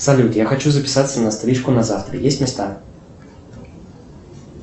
салют я хочу записаться на стрижку на завтра есть места